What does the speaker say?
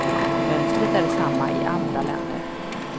Mönstret är det samma i andra länder.